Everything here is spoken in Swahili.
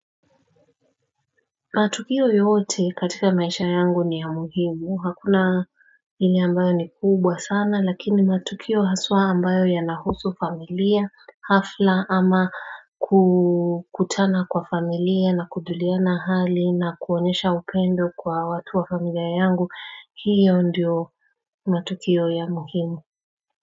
Matukio yote katika maisha yangu ni ya muhimu hakuna Hili ambayo ni kubwa sana lakini matukio haswa ambayo yanahusu familia hafla ama kutana kwa familia na kuduliana hali na kuonesha upendo kwa watu wa familia yangu hiyo ndiyo matukio ya muhimu.